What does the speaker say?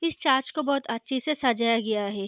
इस चर्च को बहोत अच्छे से सजाया गया है।